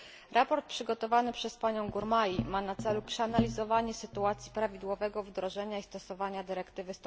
Sprawozdanie przygotowane przez panią Gurmai ma na celu przeanalizowanie sytuacji prawidłowego wdrożenia i stosowanie dyrektywy